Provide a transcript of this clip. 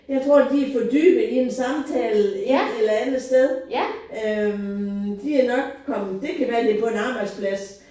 Jeg tror de er fordybet i en samtale et eller andet sted. Øh de er nok kommet det kan være det er på en arbejdsplads